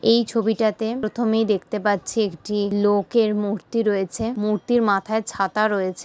এই ছবিটাতে প্রথমেই দেখতে পাচ্ছি একটি লোকের মূর্তি রয়েছে। মূর্তির মাথায় ছাতা রয়েছে ।